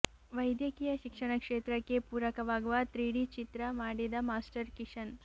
ವೈದ್ಯಕೀಯ ಶಿಕ್ಷಣ ಕ್ಷೇತ್ರಕ್ಕೆ ಪೂರಕವಾಗುವ ತ್ರಿಡಿ ಚಿತ್ರ ಮಾಡಿದ ಮಾಸ್ಟರ್ ಕಿಶನ್